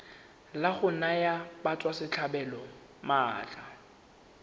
la go naya batswasetlhabelo maatla